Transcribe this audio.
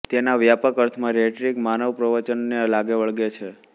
તેના વ્યાપક અર્થમાં રેટરિક માનવ પ્રવચનને લાગે વળગે છે